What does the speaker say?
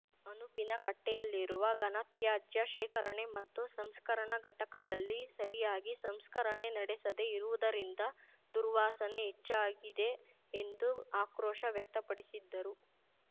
ಅನುಪಿನಕಟ್ಟೆಯಲ್ಲಿರುವ ಘನತ್ಯಾಜ್ಯ ಶೇಖರಣೆ ಮತ್ತು ಸಂಸ್ಕರಣಾ ಘಟಕದಲ್ಲಿ ಸರಿಯಾಗಿ ಸಂಸ್ಕರಣೆ ನಡೆಸದೆ ಇರುವುದರಿಂದ ದುರ್ವಾಸನೆ ಹೆಚ್ಚಾಗಿದೆ ಎಂದು ಆಕ್ರೊಶ ವ್ಯಕ್ತಪಡಿಸಿದ್ದರು